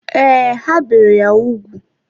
Ee, ha bere ya úgwù.